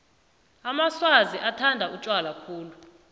amaswazi bathanda utjwala khulu